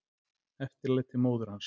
Eftirlæti móður hans.